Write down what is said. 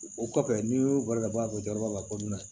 O kɔfɛ n'i y'o bali ka bɔ a fɛ jɔyɔrɔ b'a la ko n'i na na